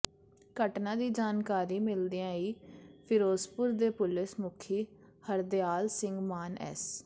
ਘਟਨਾ ਦੀ ਜਾਣਕਾਰੀ ਮਿਲਦਿਆਂ ਹੀ ਫਿਰੋਜ਼ਪੁਰ ਦੇ ਪੁਲਸ ਮੁਖੀ ਹਰਦਿਆਲ ਸਿੰਘ ਮਾਨ ਐੱਸ